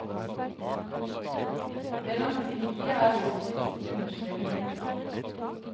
Det langsiktige er viktigst, understreker hun.